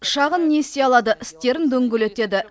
шағын несие алады істерін дөңгелетеді